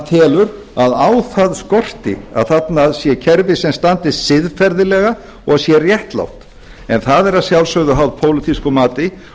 telur að á það skorti að þarna sé kerfi sem standist siðferðilega og sé réttlátt en það er að sjálfsögðu háð pólitísku mati